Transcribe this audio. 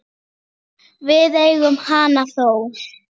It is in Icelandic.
Við eigum hana þó.